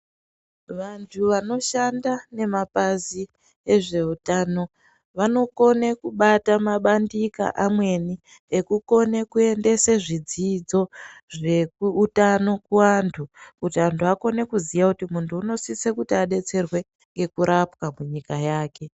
Vantu vanoshanda nemabazi ezveutano vanokone kubata mabandika amweni ekukone kuendesa zvidzidzo zveutano kuvantu kuti antu akone kuziva uti muntu unosise kuti adetserwe zvekurapwa munyika mwake.